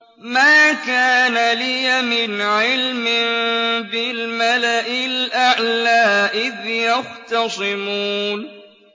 مَا كَانَ لِيَ مِنْ عِلْمٍ بِالْمَلَإِ الْأَعْلَىٰ إِذْ يَخْتَصِمُونَ